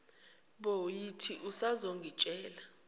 bo yithi usazongitshela